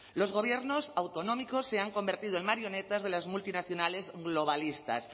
los gobiernos autonómicos se han convertido en marionetas de las multinacionales globalistas